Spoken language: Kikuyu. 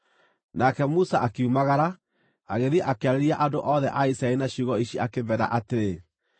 Nake Musa akiumagara agĩthiĩ akĩarĩria andũ othe a Isiraeli na ciugo ici akĩmeera atĩrĩ,